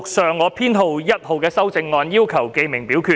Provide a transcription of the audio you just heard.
陳志全議員要求點名表決。